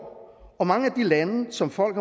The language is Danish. og mange af de lande som folk